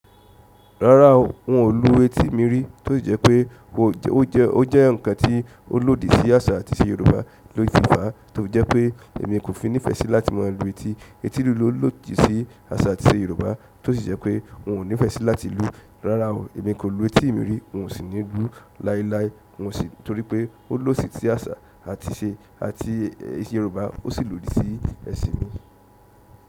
Rárá o, n ò lú etí mi rí, tó sì jẹ́ pé ó jẹ́ ǹkan tí ó lòdì sí àṣà àti ìṣe Yorùbá, ló fi fàá tó fi jẹ́ pé èmi kò fi nífẹ́ sí láti má a lu etí. Eti lulú lòdì sí àṣà àti ìṣe Yorùbá, tó sì jẹ́ pé n ò nífẹ́ sí láti lu, rárá o, èmi kò lu etí mi rí, n ò sì ní lú láíláí, n ò sì torí pé ó lòdì sí àṣà àti ìṣe àti èsìn Yorùbá, ó sì lòdì sí ẹṣin mi.